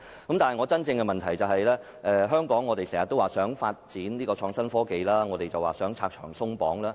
我的補充質詢是，我們經常說如果香港要發展創新科技，便要拆牆鬆綁。